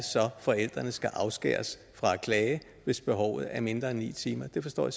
forældrene skal afskæres fra at klage hvis behovet er mindre end ni timer det forstår